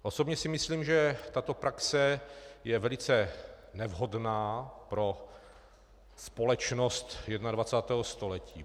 Osobně si myslím, že tato praxe je velice nevhodná pro společnost 21. století.